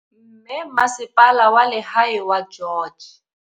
Mme Masepala wa Lehae wa George.